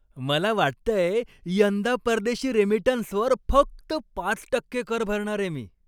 मला वाटतंय, यंदा परदेशी रेमिटन्सवर फक्त पाच टक्के कर भरणारे मी.